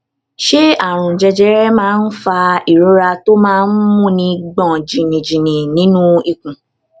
ṣé àrùn jẹjẹrẹ máa ń fa ìrora tó máa ń múni gbòn jìnnìjìnnì nínú ikùn